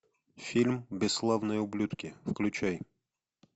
фильм бесславные ублюдки включай